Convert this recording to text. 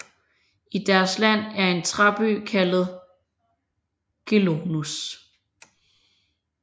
I deres land er en træby kaldet Gelonus